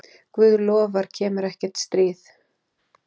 Guð lofar kemur ekkert stríð.